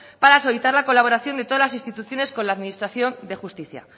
para solicitar la colaboración de todas las instituciones con la administración de justicia